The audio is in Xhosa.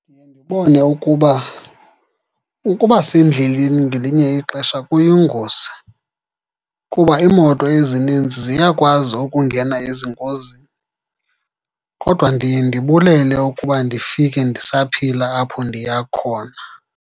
Ndiye ndibone ukuba ukuba sendleleni ngelinye ixesha kuyingozi, kuba iimoto ezininzi ziyakwazi ukungena ezingozini. Kodwa ndiye ndibulele ukuba ndifike ndisaphila apho ndiya khona.